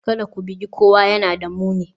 Kada ku bugi kowa, yana da muni